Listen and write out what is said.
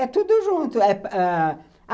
É tudo junto.